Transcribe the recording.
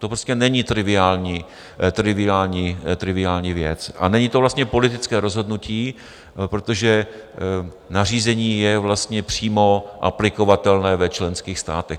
To prostě není triviální věc a není to vlastně politické rozhodnutí, protože nařízení je vlastně přímo aplikovatelné ve členských státech.